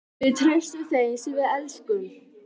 Við treystum þeim sem við elskum.